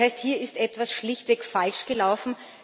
Das heißt Hier ist etwas schlichtweg falsch gelaufen.